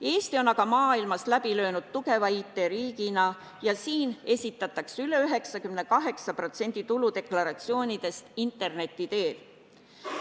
Eesti on aga maailmas läbi löönud tugeva IT-riigina ja siin esitatakse üle 98% tuludeklaratsioonidest interneti teel.